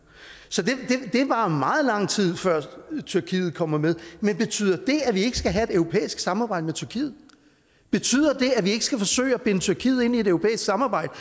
så det varer meget lang tid før tyrkiet kommer med men betyder det at vi ikke skal have et europæisk samarbejde med tyrkiet betyder det at vi ikke skal forsøge at binde tyrkiet ind i et europæisk samarbejde